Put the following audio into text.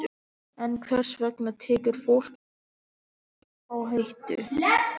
En hvers vegna tekur fólk slíka áhættu?